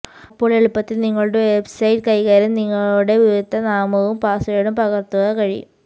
അപ്പോൾ എളുപ്പത്തിൽ നിങ്ങളുടെ വെബ്സൈറ്റ് കൈകാര്യം നിങ്ങളുടെ ഉപയോക്തൃ നാമവും പാസ്വേഡും പകർത്തുക കഴിയും